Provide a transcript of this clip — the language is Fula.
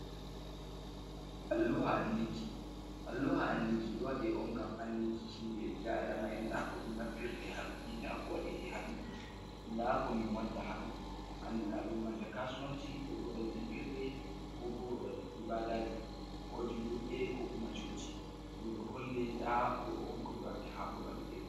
Alluha andinki ɗo waɗe on ngam andinki himɓe ɓiɓbi Adama'en dako ɗum naffirte ha ɗoni nda ko waɗite ha dow ni, nda ko min watta ha dow andina ɗum banta kasuwanci ko babal jangirde ko bo babal ibadaji ko julurde ko kuma coci ɗum ɗo holle nda ɗo on ko ɓe watta ha babal.